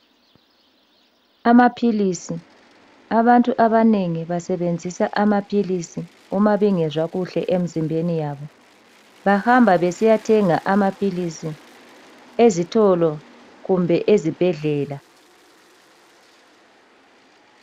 Amaphilisi, abantu abanengi basebenzisa amaphilisi uma bengezwa kuhle emzimbeni yabo. Bahamba besiyathenga amaphilisi ezitolo kumbe ezibhedlela.